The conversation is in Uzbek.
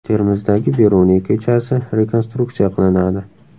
Termizdagi Beruniy ko‘chasi rekonstruksiya qilinadi.